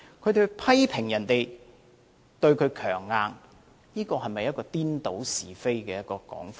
他們批評別人對他強硬，這是否顛倒是非的說法呢？